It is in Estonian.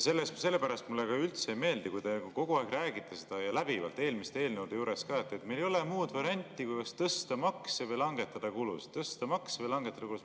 Mulle ka üldse ei meeldi, kui te kogu aeg räägite seda, ja läbivalt, eelmiste eelnõude arutelul ka, et meil ei ole muud varianti kui tõsta makse või langetada kulusid.